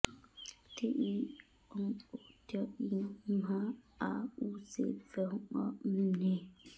भूते ई उं ओ त्थ इं म्हा आ ऊ से व्हं अ म्हे